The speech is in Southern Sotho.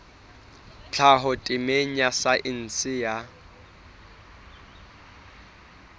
tlhaho temeng ya saense ya